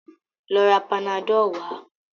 Lọ ra Panadọ́ọ̀ wá!